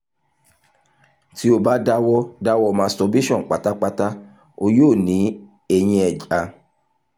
ti o ba dawọ dawọ masturbation patapata o yoo ni ẹyin eja